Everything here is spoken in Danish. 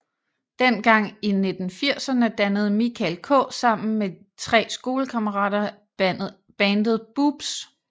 Dengang i 1980erne dannede Mikael K sammen med tre skolekammerater bandet Boobs